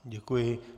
Děkuji.